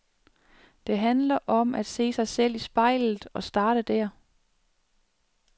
Det handler om at se sig selv i spejlet og starte der.